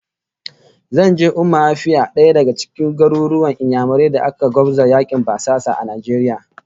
Zan je Umma Afia, daya daga cikin garuruwan Inyamurai da aka gwabza yakin basasan Najeriya